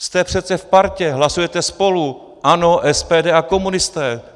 Jste přece v partě, hlasujete spolu, ANO, SPD a komunisté.